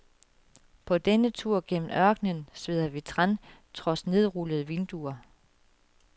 På denne tur gennem ørkenen sveder vi tran trods nedrullede vinduer.